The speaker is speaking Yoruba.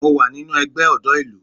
Mo wà nínú ẹgbẹ́ ọ̀dọ́ ìlú